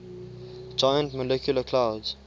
giant molecular clouds